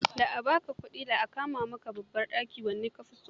Da a ba ka kudin, da a kama ma babban ɗaki wanne ka fi so?